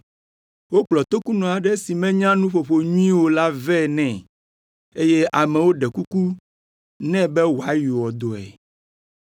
Wokplɔ tokunɔ aɖe si menya nuƒoƒo nyuie o la vɛ nɛ, eye amewo ɖe kuku nɛ be wòayɔ dɔe.